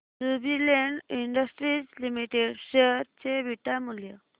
Jubilant industries limited share चे beta मूल्य